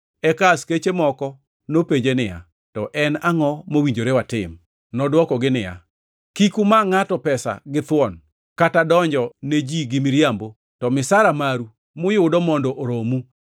Eka askeche moko nopenje niya, “To en angʼo mowinjore watim.” Nodwokogi niya, “Kik uma ngʼato pesa githuon kata donjo ne ji gi miriambo to misara maru muyudo mondo oromu.”